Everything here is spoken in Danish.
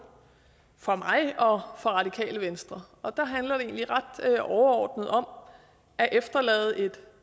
for mig og for radikale venstre og der handler det egentlig ret overordnet om at efterlade et